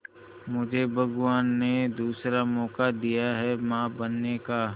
मुझे भगवान ने दूसरा मौका दिया है मां बनने का